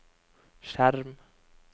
skjerm